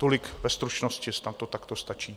Tolik ve stručnosti, snad to takto stačí.